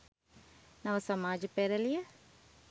නව සමාජ පෙරැළිය